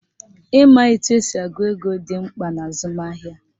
Ịma etu esi agụ ego dị mkpa n'azụmahịa